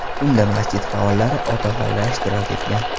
Unda masjid faollari, otaxonlar ishtirok etgan.